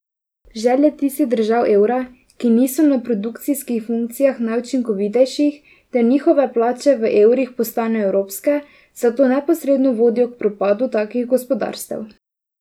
Želje tistih držav evra, ki niso na produkcijskih funkcijah najučinkovitejših, da njihove plače v evrih postanejo evropske, zato neposredno vodijo k propadu takih gospodarstev.